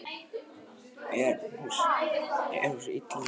En hún sér illa núorðið.